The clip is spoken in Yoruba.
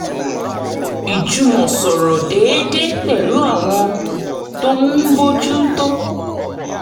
ìjùmọ̀sọ̀rọ̀ déédéé pẹ̀lú àwọn tó ń bójú tó